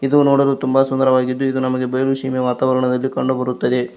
ಇದು ನೋಡಲು ತುಂಬ ಸುಂದರವಾಗಿದ್ದು ಇದು ನಮಗೆ ಬೇರೆ ಸೀಮೆ ವಾತಾವರಣದಲ್ಲಿ ಕಂಡು ಬರುತ್ತದೆ.